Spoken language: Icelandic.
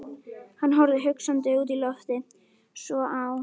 Hann horfði hugsandi út í loftið, svo á